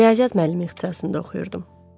Riyaziyyat müəllimi ixtisasında oxuyurdum.